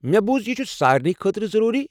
مےٚ بوُز یہِ چھٗ سارنی خٲطرٕ ضروٗری۔